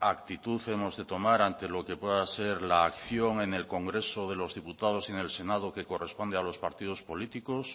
actitud hemos de tomar ante lo que pueda ser la acción en el congreso de los diputados y en el senado que corresponde a los partidos políticos